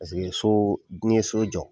Paseke so n'i ye so jɔ